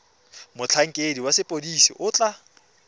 motlhankedi wa sepodisi o tla